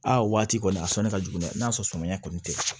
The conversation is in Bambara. Aa waati kɔni a sɔnni ka jugu n'a ye n'a sɔrɔ sumana kɔni tɛ